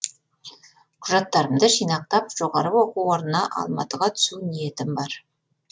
құжаттарымды жинақтап жоғары оқу орнына алматыға түсу ниетім бар